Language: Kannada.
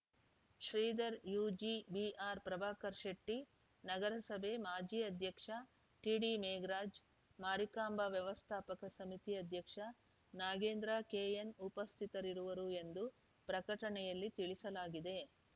ಶ್ರೀಧರ ಯುಜಿ ಬಿಆರ್‌ಪ್ರಭಾಕರ್ ಶೆಟ್ಟಿ ನಗರಸಭೆ ಮಾಜಿ ಅಧ್ಯಕ್ಷ ಟಿಡಿಮೇಘರಾಜ್‌ ಮಾರಿಕಾಂಬಾ ವ್ಯವಸ್ಥಾಪಕ ಸಮಿತಿ ಅಧ್ಯಕ್ಷ ನಾಗೇಂದ್ರ ಕೆಎನ್‌ ಉಪಸ್ಥಿತರಿರುವರು ಎಂದು ಪ್ರಕಟಣೆಯಲ್ಲಿ ತಿಳಿಸಲಾಗಿದೆ